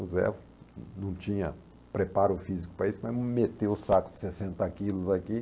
O Zé não tinha preparo físico para isso, mas meteu o saco de sessenta quilos aqui.